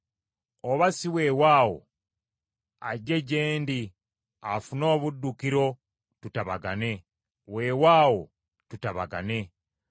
Oba si weewaawo ajje gye ndi afune obuddukiro, tutabagane, weewaawo tutabagane.”